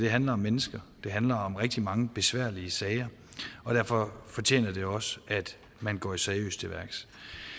handler om mennesker det handler om rigtig mange besværlige sager derfor fortjener det også at man går seriøst til værks